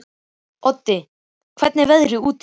Oddi, hvernig er veðrið úti?